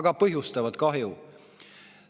Aga nad põhjustavad kahju.